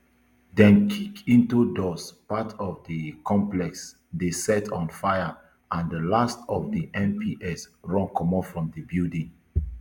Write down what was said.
dem kick into doors part of di complex dey set on fire and di last of di mps run comot from di building